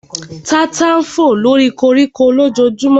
Tata fò lóri koríko lójojúmọ́